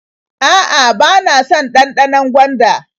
A'a, bana son ɗanɗanon gwanda.